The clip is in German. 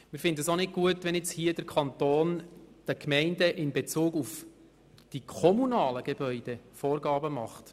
Wir finden es auch nicht gut, wenn der Kanton den Gemeinden jetzt in Bezug auf die kommunalen Gebäude Vorgaben macht.